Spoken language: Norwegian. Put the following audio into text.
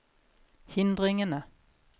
hindringene